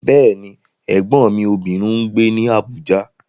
Bẹ́ẹ̀ni, Ẹ̀gbọ́n mi obìnrin ń gbé ní Abuja.